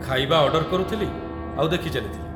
ଖାଇବା ଅର୍ଡର୍ କରୁଥିଲି ଆଉ ଦେଖିଚାଲିଥିଲି।